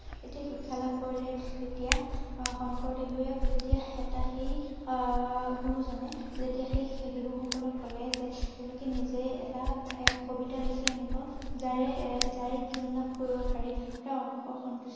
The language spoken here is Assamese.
এতিয়া শিক্ষা লাভ কৰিলে যেতিয়া আহ শংকৰ দেৱে যেতিয়া এটা সেই আহ ~আহ গুৰু জনে যেতিয়া সেই সেই শিশু সকলক কলে যে তেওঁলোকে নিজেই এটা এহ কবিতা লিখি আনিব যাৰে এ যাৰে জ্ঞান লাভ কৰিব পাৰিব অসন্তুষ্ট হয়